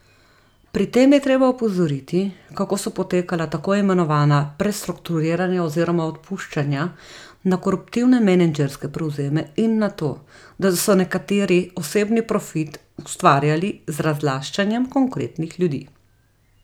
Pri tem je treba opozoriti, kako so potekala tako imenovana prestrukturiranja oziroma odpuščanja, na koruptivne menedžerske prevzeme in na to, da so nekateri osebni profit ustvarjali z razlaščanjem konkretnih ljudi.